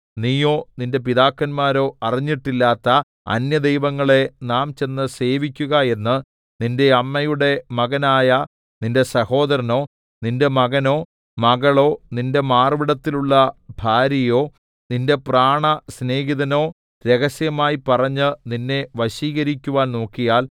നീയോ നിന്റെ പിതാക്കന്മാരോ അറിഞ്ഞിട്ടില്ലാത്ത അന്യദൈവങ്ങളെ നാം ചെന്ന് സേവിക്കുക എന്ന് നിന്റെ അമ്മയുടെ മകനായ നിന്റെ സഹോദരനോ നിന്റെ മകനോ മകളോ നിന്റെ മാർവ്വിടത്തിലുള്ള ഭാര്യയോ നിന്റെ പ്രാണസ്നേഹിതനോ രഹസ്യമായി പറഞ്ഞ് നിന്നെ വശീകരിക്കുവാൻ നോക്കിയാൽ